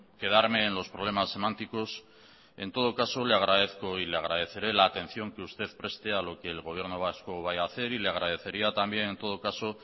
quedarme en los problemas semánticos en todo caso le agradezco y le agradeceré la atención que usted preste a lo que el gobierno vasco vaya ha hacer y le agradecería también en todo caso